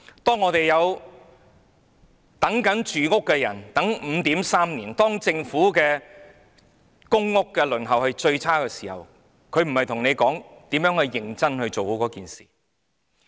當等待入住公屋的人要等 5.3 年，當輪候公屋的時間是最長的時候，政府並非與你討論如何認真地解決問題。